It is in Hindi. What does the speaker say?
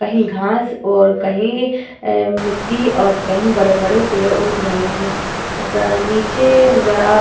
कहीं घास और कहीं अ मिट्टी और कई बड़े-बड़े पेड़ उग रहे हैं। स नीचे बड़ा --